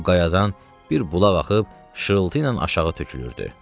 Bu qayadan bir bulaq axıb şırıltı ilə aşağı tökülürdü.